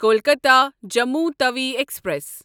Kolkata Jammu Tawi express